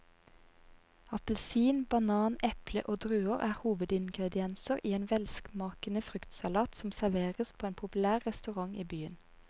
Appelsin, banan, eple og druer er hovedingredienser i en velsmakende fruktsalat som serveres på en populær restaurant i byen.